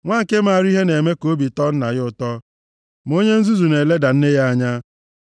Nwa nke maara ihe na-eme ka obi tọọ nna ya ụtọ, ma onye nzuzu na-eleda nne ya anya.